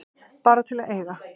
Bara til að eiga.